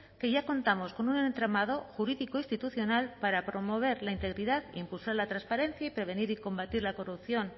que ya contamos con un entramado jurídico institucional para promover la integridad e impulsar la transparencia y prevenir y combatir la corrupción